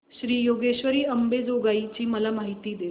श्री योगेश्वरी अंबेजोगाई ची मला माहिती दे